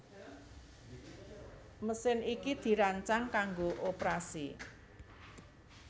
Mesin iki dirancang kanggo oprasi